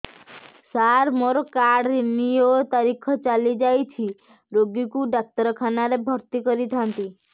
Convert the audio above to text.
ସାର ମୋର card renew ତାରିଖ ଚାଲି ଯାଇଛି ରୋଗୀକୁ ଡାକ୍ତରଖାନା ରେ ଭର୍ତି କରିଥାନ୍ତି